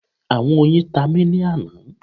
Awọn oyin ta mi ni ana